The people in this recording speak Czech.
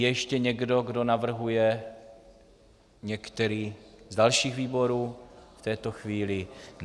Je ještě někdo, kdo navrhuje některý z dalších výborů v této chvíli?